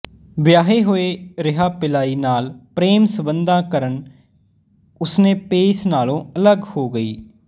ਵਿਆਹੇ ਹੋਏ ਰਿਹਾ ਪਿਲਾਈ ਨਾਲ ਪ੍ਰੇਮ ਸੰਬੰਧਾਂ ਕਰਨ ਉਸਨੇ ਪੇਸ ਨਾਲੋਂ ਅਲੱਗ ਹੋ ਗਈ